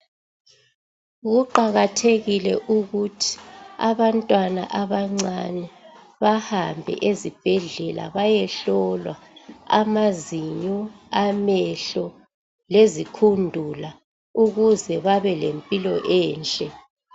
Kuqakathekile ukuthi abantwana abancane bahambe ezibhedlela bayehlolwa amazinyo, amehlo lezikhundula ukuze babe lempilo enhle.